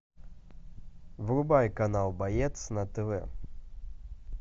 врубай канал боец на тв